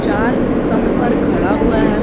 चार स्तंभ पर खड़ा हुआ है।